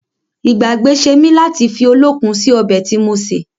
Ìgbàgbé ṣe mí láti fi olókun sì ọbẹ̀ tí mo ṣè